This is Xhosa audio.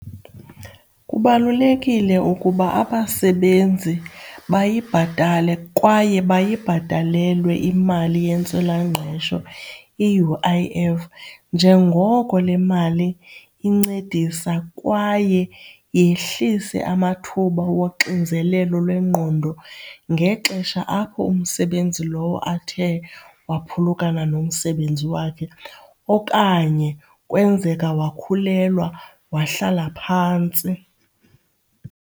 Kubalulekile ukuba abasebenzi bayibhatale kwaye bayibhatalelwe imali yentswelangqesho, i-U_I_F, njengoko le mali incedisa kwaye yehlise amathuba woxinzelelo lwengqondo ngexesha apho umsebenzi lowo athe waphulukana nomsebenzi wakhe okanye kwenzeka wakhulelwa, wahlala phantsi.